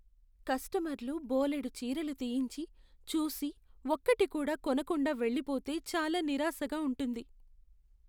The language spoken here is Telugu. కస్టమర్లు బోలెడు చీరలు తీయించి, చూసి, ఒక్కటి కూడా కొనకుండా వెళ్ళిపోతే చాలా నిరాశగా ఉంటుంది.